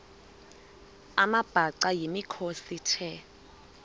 amabhaca yimikhosi the